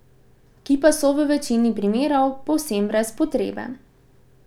Ki pa so v večini primerov povsem brez potrebe.